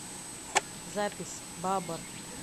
запись бабр